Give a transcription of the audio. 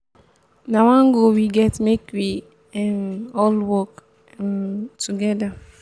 na one goal we get make we um all work um together um.